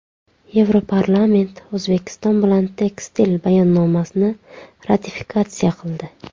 Yevroparlament O‘zbekiston bilan tekstil bayonnomasini ratifikatsiya qildi.